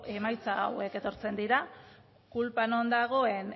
emaitza hauek etortzen dira kulpa non dagoen